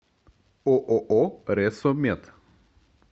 ооо ресо мед